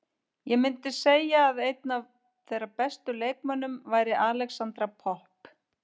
Ég myndi segja að einn af þeirra bestu leikmönnum væri Alexandra Popp.